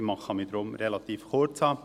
ich kann mich deshalb relativ kurzfassen.